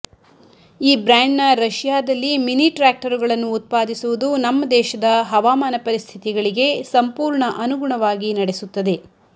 ಈ ಬ್ರ್ಯಾಂಡ್ನ ರಶಿಯಾದಲ್ಲಿ ಮಿನಿ ಟ್ರಾಕ್ಟರುಗಳನ್ನು ಉತ್ಪಾದಿಸುವುದು ನಮ್ಮ ದೇಶದ ಹವಾಮಾನ ಪರಿಸ್ಥಿತಿಗಳಿಗೆ ಸಂಪೂರ್ಣ ಅನುಗುಣವಾಗಿ ನಡೆಸುತ್ತದೆ